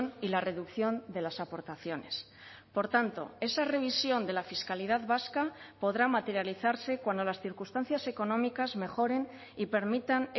y la reducción de las aportaciones por tanto esa revisión de la fiscalidad vasca podrá materializarse cuando las circunstancias económicas mejoren y permitan